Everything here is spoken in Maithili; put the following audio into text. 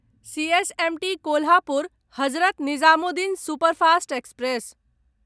CSMT Kolhapur Hazrat Nizamuddin superfast express